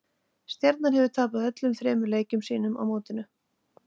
Stjarnan hefur tapað öllum þremur leikjum sínum á mótinu.